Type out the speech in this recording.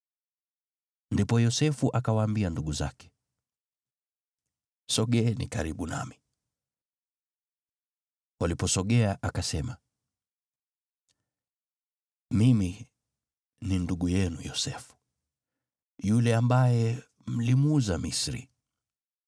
Ndipo Yosefu akawaambia ndugu zake, “Sogeeni karibu nami.” Waliposogea, akasema, “Mimi ni ndugu yenu Yosefu, yule ambaye mlimuuza Misri!